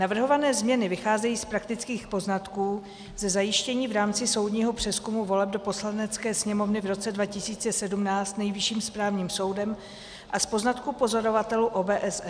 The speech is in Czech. Navrhované změny vycházejí z praktických poznatků, ze zjištění v rámci soudního přezkumu voleb do Poslanecké sněmovny v roce 2017 Nejvyšším správním soudem a z poznatků pozorovatelů OBSE.